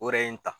O yɛrɛ ye n ta